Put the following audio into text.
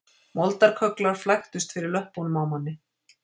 Moldarkögglar flæktust fyrir löppunum á manni